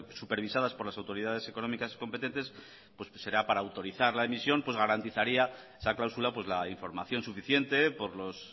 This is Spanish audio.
supervisadas por las autoridades económicas competentes pues será para autorizar la emisión pues garantizaría esa cláusula pues la información suficiente por los